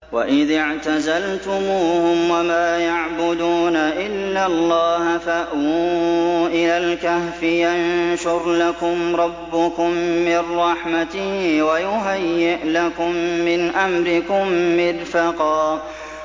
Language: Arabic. وَإِذِ اعْتَزَلْتُمُوهُمْ وَمَا يَعْبُدُونَ إِلَّا اللَّهَ فَأْوُوا إِلَى الْكَهْفِ يَنشُرْ لَكُمْ رَبُّكُم مِّن رَّحْمَتِهِ وَيُهَيِّئْ لَكُم مِّنْ أَمْرِكُم مِّرْفَقًا